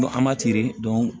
N ko an ma